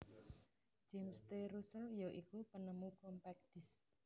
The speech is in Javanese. James T Russell ya iku penemu Compact Disc